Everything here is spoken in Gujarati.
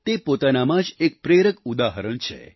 તે પોતાનામાં જ એક પ્રેરક ઉદાહરણ છે